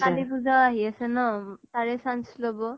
কালী পুজাও আহি আছে ন তাৰে chance লব।